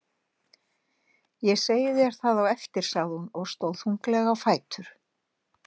Ég segi þér það á eftir, sagði hún og stóð þunglega á fætur.